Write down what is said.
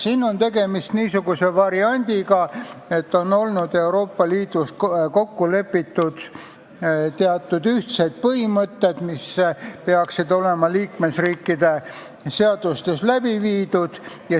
Siin on niisugune variant, et Euroopa Liidus on kokku lepitud teatud ühtsed põhimõtted, mis peaksid olema liikmesriikide seadustesse viidud.